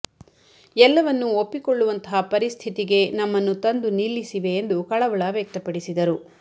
ಎಲ್ಲವನ್ನು ಒಪ್ಪಿಕೊಳ್ಳುವಂತಹ ಪರಿಸ್ಥಿತಿಗೆ ನಮ್ಮನ್ನು ತಂದು ನಿಲ್ಲಿಸಿವೆ ಎಂದು ಕಳವಳ ವ್ಯಕ್ತಪಡಿಸಿದರು